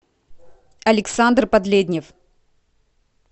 александр подледнев